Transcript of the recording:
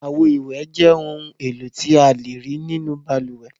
Àwo-ìwẹ̀ jẹ́ ohun-èlò tí a lè rí nínú balùwẹ̀.